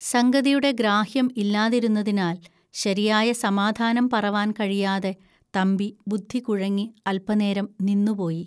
സംഗതിയുടെ ഗ്രാഹ്യം ഇല്ലാതിരുന്നതിനാൽ ശരിയായ സമാധാനം പറവാൻ കഴിയാതെ തമ്പി ബുദ്ധികുഴങ്ങി അൽപനേരം നിന്നുപോയി